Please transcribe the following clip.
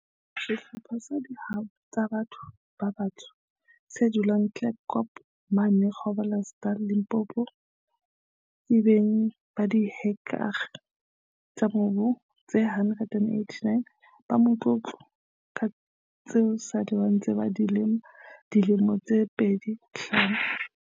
Sehlopha sa di hwai tsa batho ba batsho se dulang Tafelkop, mane Gro blersdal, Limpopo, ke beng ba dihektare tsa mobu tse 189 ba motlo tlo, tseo esale ba ntse ba di lema ka dilemo tse fetang 25.